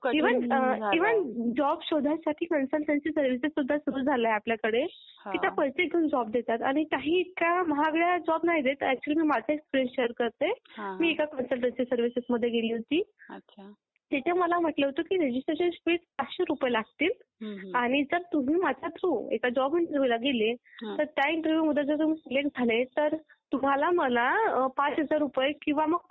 Even job शोधायसाठी पण सुरू झालंय आपल्याकडे की ते पैसे घेऊन जॉब देतात. आणि काही इतक्या महागड्या जॉब नाही देत. अॅक्चुअली मी माझाच एक्सपिरियंस शेअर करते. एका कन्सलटंसी सर्विसेस मधे गेली होती. तिथे मला म्हटलं होतं की रजिस्ट्रेशन फी पाचशे रुपये लागतील. आणि तुम्ही माझ्या थ्रू एका जॉब इंटरव्ह्युला गेले आणि त्या इंटरव्ह्युमधे तुमी सिलेक्ट झाले तर तुम्हाला मला पाच हजार रुपये किंवा पूर्ण तुमचा एक पेमेंट द्यावा लागेल.